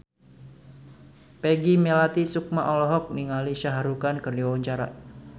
Peggy Melati Sukma olohok ningali Shah Rukh Khan keur diwawancara